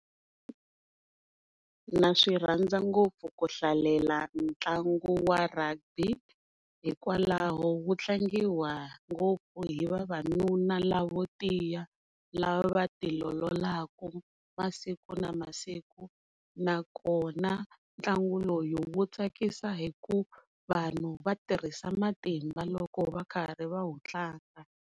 Na swi rhandza ngopfu ku hlalela ntlangu wa Rugby hikwalaho wu tlangiwa ngopfu hi vavanuna lavo tiya la va vati ololaka masiku na masiku nakona ntlangu lowu wu tsakisa hi ku vanhu va tirhisa matimba loko va karhi va wu tlanga.